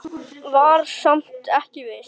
Var samt ekki viss.